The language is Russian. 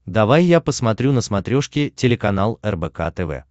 давай я посмотрю на смотрешке телеканал рбк тв